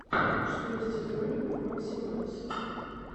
что есть из роликов максимайс